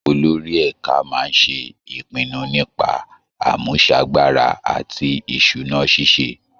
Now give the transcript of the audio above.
Olórí ẹ̀ka máa ń ṣe ìpinnu nípa àmúṣagbára àti ìṣúná ṣíṣe